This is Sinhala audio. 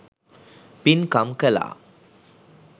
පින්කම් කළා.